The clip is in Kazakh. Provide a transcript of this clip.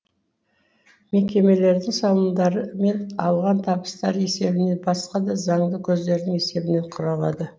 мекемелердің салымдары мен алған табыстары есебінен басқа да заңды көздердің есебінен құралады